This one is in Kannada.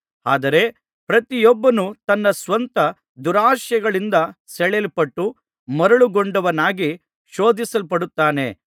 ಆದರೆ ಪ್ರತಿಯೊಬ್ಬನು ತನ್ನ ಸ್ವಂತ ದುರಾಶೆಗಳಿಂದ ಸೆಳೆಯಲ್ಪಟ್ಟು ಮರುಳುಗೊಂಡವನಾಗಿ ಶೋಧಿಸಲ್ಪಡುತ್ತಾನೆ